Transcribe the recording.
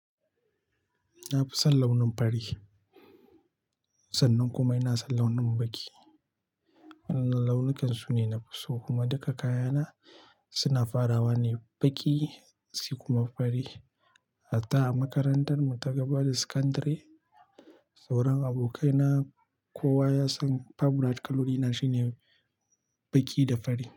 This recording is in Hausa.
Na fi son launin fari, sannan kuma ina son launin baƙi. Wannan launukansu ne na fi so kuma duka kayana suna farawa ne baƙi sai kuma fari. Hatta a makarantar mu ta gaba da sakandare, sauran abokaina kowa ya san favourite Karolina shine baƙi da fari.